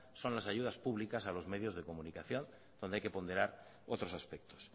son las ayudas públicas a los medios de comunicación donde hay que ponderar otros aspectos